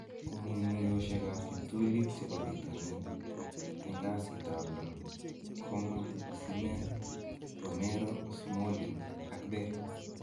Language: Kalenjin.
Kong'ung'uyosiekab kiptulit chebo bitonin en kasitab lo 25/07/2020: Coman, Osimhen, Romero, Smalling, Bale